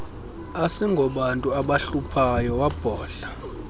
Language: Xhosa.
asingobantu abahluphayo wabhodla